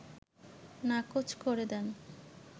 নাকোচ করে দেন